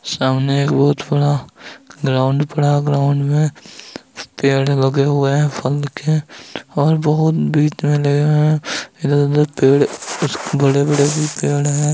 सामने एक बहोत बड़ा ग्राउंड बड़ा ग्राउंड में पेड़ लगे हुए हैं फल के और बहोत इधर-उधर पेड़ कुछ बड़े-बड़े भी पेड़ हैं।